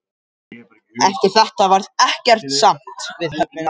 Eftir þetta varð ekkert samt við höfnina aftur.